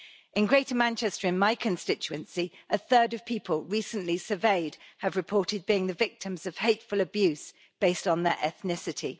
In Greater Manchester, in my constituency, a third of people recently surveyed have reported being the victims of hateful abuse based on their ethnicity.